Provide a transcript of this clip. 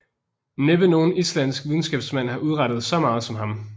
Næppe nogen islandsk videnskabsmand har udrettet så meget som han